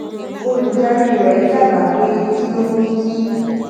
olùdarí rẹ dábàá pé kí ó mú kí